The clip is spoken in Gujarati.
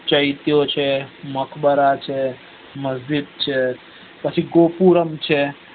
ચૈત્યો છે મકબરા છ મર્ભીત છે પછી ગોક્રુરમ છે